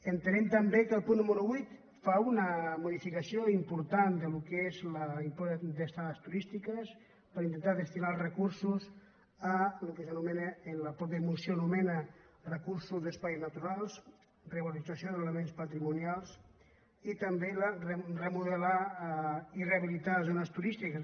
entenem també que el punt número vuit fa una modifica·ció important del que és l’impost d’estades turístiques per intentar destinar els recursos al que s’anomena al que la mateixa moció anomena recursos d’espais naturals revalorització d’elements patrimonials i també remodelar i rehabilitar les zones turístiques